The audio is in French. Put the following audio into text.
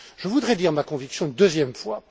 Je voudrais dire ma conviction une deuxième fois.